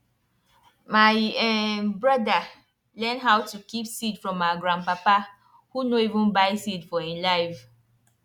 my um broda learn how to keep seed from our grandpapa who nor ever buy seed for e life